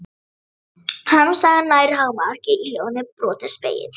Harmsagan nær hámarki í ljóðinu Brotinn spegill.